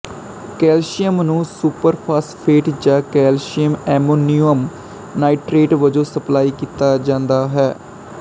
calcium ਨੂੰ superphosphate ਜਾਂ calcium ammonium nitrate ਵਜੋਂ ਸਪਲਾਈ ਕੀਤਾ ਜਾਂਦਾ ਹੈ